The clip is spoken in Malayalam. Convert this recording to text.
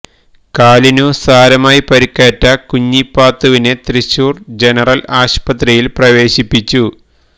കാലിനു സാരമായി പരുക്കേറ്റ കുഞ്ഞിപ്പാത്തുവിനെ തൃശൂര് ജനറല് ആശുപത്രിയില് പ്രവേശിപ്പിച്ചു